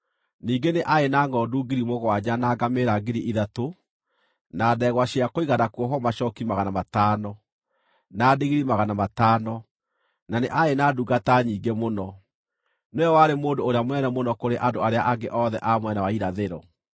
ningĩ nĩ aarĩ na ngʼondu 7,000, na ngamĩĩra 3,000, na ndegwa cia kũigana kuohwo macooki 500, na ndigiri 500, na nĩ aarĩ na ndungata nyingĩ mũno. Nĩwe warĩ mũndũ ũrĩa mũnene mũno kũrĩ andũ arĩa angĩ othe a mwena wa Irathĩro.